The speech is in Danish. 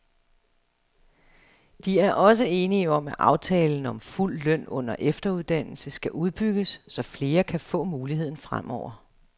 De er også enige om, at aftalen om fuld løn under efteruddannelse skal udbygges, så flere kan få muligheden fremover.